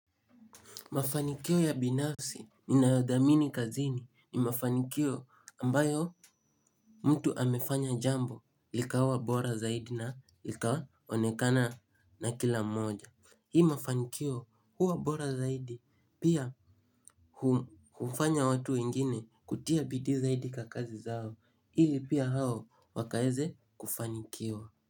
Mafanikio ya binafsi ninayodhamini kazini ni mafanikio ambayo mtu amefanya jambo likawa bora zaidi na lika onekana na kila moja. Hii mafanikio huwa bora zaidi pia hufanya watu wengine kutia bidii zaidi kakazi zao ili pia hao wakaeze kufanikiwa.